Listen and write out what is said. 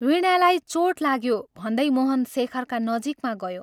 "वीणालाई चोट लाग्यो " भन्दै मोहन शेखरका नजीकमा गयो।